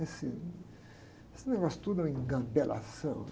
Esse, esse negócio tudo é uma engabelação.